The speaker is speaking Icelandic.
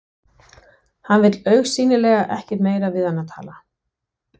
Hann vill augsýnilega ekkert meira við hana tala.